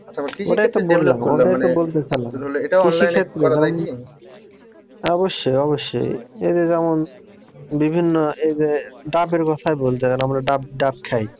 অবশ্যই অবশ্যই এই যে যেমন বিভিন্ন এই যে ডাবের ব্যবসায় বলতে গেলে আমরা ডাব ডাব খাই